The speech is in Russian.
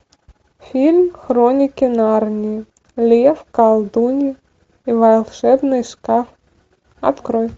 фильм хроники нарнии лев колдунья и волшебный шкаф открой